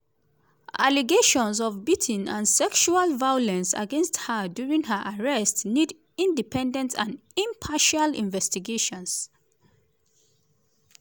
allegations of beating and sexual violence against her during her arrest nid independent and impartial investigations.